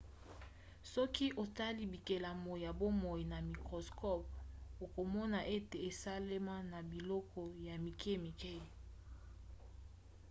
soki otali bikelamu ya bomoi na microscope okomona ete esalema na biloko ya mike-mike